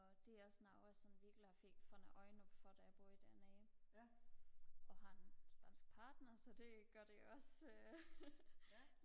det er også noget jeg sådan virkelig fik har fået øjnene op for da jeg boede dernede og har en spansk partner så det gør det også